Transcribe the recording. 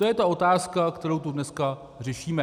To je ta otázka, kterou tu dneska řešíme.